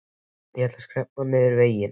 Ég ætla að skreppa niður vegginn, já.